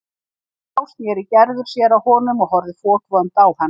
En þá sneri Gerður sér að honum og horfði fokvond á hann.